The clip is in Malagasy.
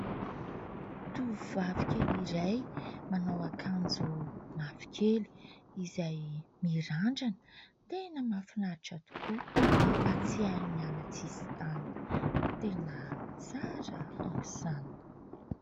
Tovovavy kely iray manao akanjo mavokely, izay mirandrana, tena mahafinaritra tokoa ; mampatsiahy ny any an-tsisintany, tena tsara aok' izany.